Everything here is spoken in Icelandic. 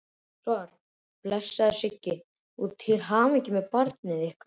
Svar: Blessaður Siggi, og til hamingju með barnið ykkar.